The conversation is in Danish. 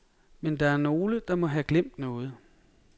Men der er nogle, der må have glemt noget.